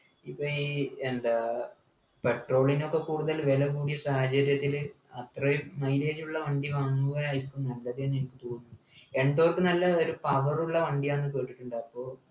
ഇപ്പൊ ഈ എന്താ petrol നൊക്കെ കൂടുതൽ വില കൂടിയ സാഹചര്യത്തില് അത്രയും mileage ഉള്ള വണ്ടി വാങ്ങുക ആയിരിക്കും നല്ലത് എന്നെനിക് തോന്നുന്നു endork നല്ല ഒരു power ഉള്ള വണ്ടിയാണ് കേട്ടിട്ടുണ്ട് അപ്പൊ